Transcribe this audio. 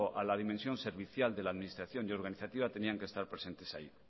a la dimensión servicial de la administración y organizativa tenían que estar presentes ahí